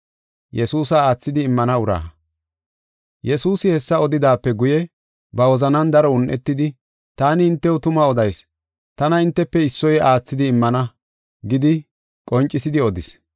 Yesuusi hessa odidaape guye, ba wozanan daro un7etidi, “Taani hintew tuma odayis; tana hintefe issoy aathidi immana” gidi qoncisidi odis.